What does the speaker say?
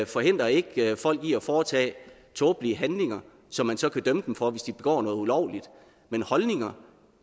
forhindrer ikke folk i at foretage tåbelige handlinger som man så kan dømme dem for hvis de begår noget ulovligt men holdninger